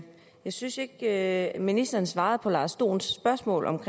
synes ikke at ministeren svarede på herre lars dohns spørgsmål om